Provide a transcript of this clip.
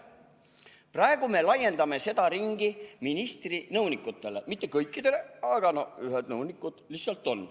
Praegu me laiendame seda ringi ministri nõunikutele – mitte kõikidele, ühed nõunikud juba on.